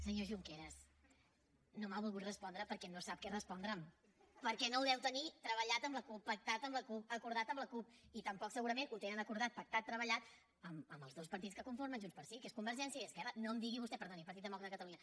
senyor junqueras no m’ha volgut respondre perquè no sap què respondre’m perquè no ho deu tenir treballat amb la cup pactat amb la cup acordat amb la cup i tampoc segurament ho tenen acordat pactat treballat amb els dos partits que conformen junts pel sí que és convergència i esquerra perdoni partit demòcrata de catalunya